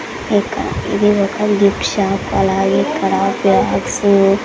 ఇది ఒక book shop అలాగే ఇక్కడ బాగ్సు .